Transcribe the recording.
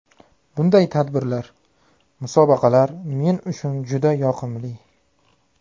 Bunday tadbirlar, musobaqalar men uchun juda yoqimli.